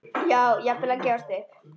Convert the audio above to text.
Já, jafnvel að gefast upp.